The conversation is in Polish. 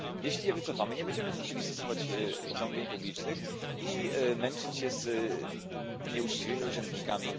Jeśli się wycofamy, nie będziemy musieli stosować zamówień publicznych i męczyć się z nieuczciwymi urzędnikami.